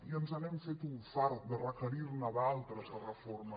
i ens n’hem fet un fart de requerir ne d’altres de reformes